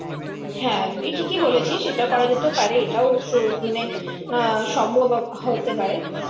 হ্যাঁ তুই ঠিকই বলেছিস এটা করা যেতে পারে এটাও সেই মানে আহ সম্ভব হতে পারে